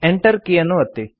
Enter ಕೀಯನ್ನು ಒತ್ತಿ